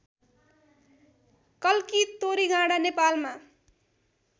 कल्की तोरीगाँडा नेपालमा